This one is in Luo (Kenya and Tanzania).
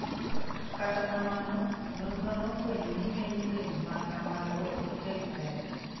Kata kamano, nonrono nofwenyo ni ng'eny rem ma kamago ok kel pek.